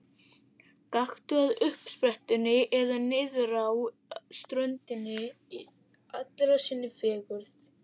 Gakktu að uppsprettunni eða niðrá ströndina í allri sinni fegurð.